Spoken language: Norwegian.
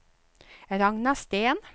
Ragna Steen